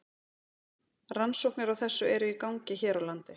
Rannsóknir á þessu eru í gangi hér á landi.